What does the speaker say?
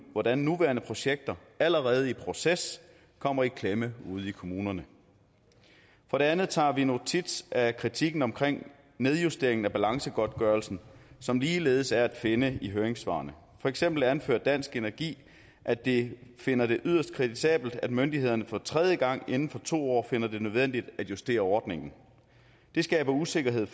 hvordan nuværende projekter allerede i proces kommer i klemme ude i kommunerne for det andet tager vi notits af kritikken af nedjusteringen af balancegodtgørelsen som ligeledes er at finde i høringssvarene for eksempel anfører dansk energi at de finder det yderst kritisabelt at myndighederne for tredje gang inden for to år finder det nødvendigt at justere ordningen det skaber usikkerhed